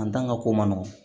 An dan ka ko man nɔgɔn